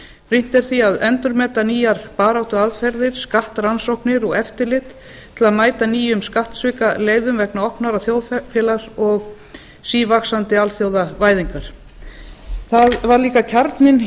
brýnt er því að endurmeta nýjar baráttuaðferðir skattrannsóknir og eftirlit til að mæta nýjum skattsvikaleiðum vegna opnara þjóðfélags og sívaxandi alþjóðavæðingar það var lána kjarninn